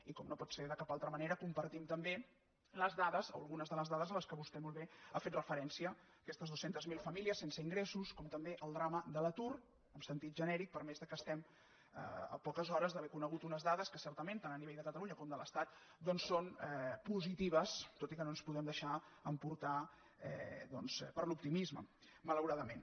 i com no pot ser de cap altra manera compartim també les dades o algunes de les dades a què vostè molt bé ha fet referència aquestes dues centes mil famílies sense ingressos com també el drama de l’atur en sentit genèric per més que estem a poques hores d’haver conegut unes dades que certament tant a nivell de catalunya com de l’estat doncs són positives tot i que no ens podem deixar emportar doncs per l’optimisme malauradament